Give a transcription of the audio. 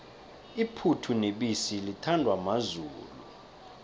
iphuthu nebisi lithandwa mazulu